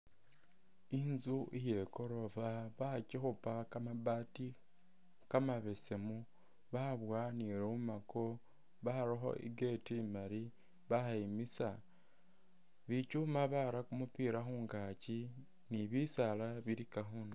Inzu iye gorofa bakikhupa kamabaati kamabesemu babowa ne lumako barakho i'gate imaali bayimisa bikyuma bara kumupila khungaki ni bisaala bilika khundulo.